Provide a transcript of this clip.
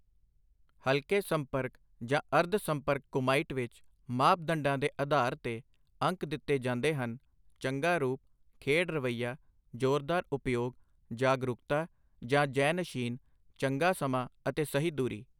ਹਲਕੇ ਸੰਪਰਕ ਜਾਂ ਅਰਧ ਸੰਪਰਕ ਕੁਮਾਈਟ ਵਿੱਚ, ਮਾਪਦੰਡਾਂ ਦੇ ਅਧਾਰ ਤੇ ਅੰਕ ਦਿੱਤੇ ਜਾਂਦੇ ਹਨ ਚੰਗਾ ਰੂਪ, ਖੇਡ ਰਵੱਈਆ, ਜ਼ੋਰਦਾਰ ਉਪਯੋਗ, ਜਾਗਰੂਕਤਾ ਜਾਂ ਜ਼ੈਨਸ਼ੀਨ, ਚੰਗਾ ਸਮਾਂ ਅਤੇ ਸਹੀ ਦੂਰੀ।